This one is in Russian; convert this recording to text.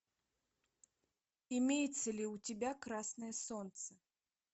имеется ли у тебя красное солнце